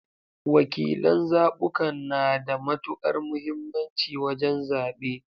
Wakilan zabukan na da matukar muhimmanci wajen zabe.